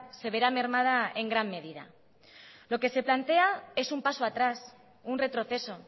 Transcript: se verá mermada en gran medida lo que se plantea es un paso atrás un retroceso